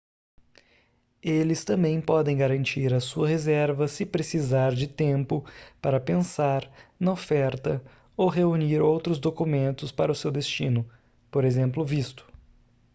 eles também podem garantir a sua reserva se precisar de tempo para pensar na oferta ou reunir outros documentos para o seu destino p. ex. visto